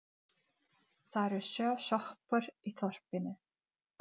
Hér vinnur margt ungt fólk.